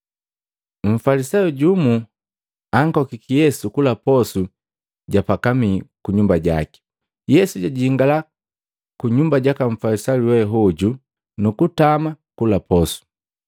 Mfalisayo jumu ankokiki Yesu kula posu ja pakamii kunyumba jaki. Yesu jajingala ku nyumba jaka Mfalisayu we hoju, nukutama kula posu.